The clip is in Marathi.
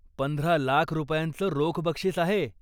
पंधरा लाख रुपयांचं रोख बक्षीस आहे.